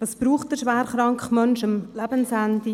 Was braucht der schwerkranke Mensch am Lebensende?